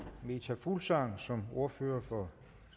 meta fuglsang som ordfører for